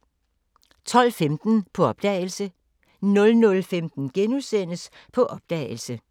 12:15: På opdagelse 00:15: På opdagelse *